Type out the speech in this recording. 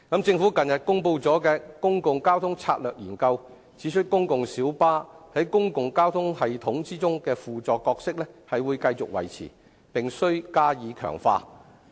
政府近日公布的《公共交通策略研究》指出，公共小巴在公共交通系統中的輔助角色會繼續維持，並加以強化。